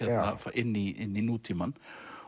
inn í nútímann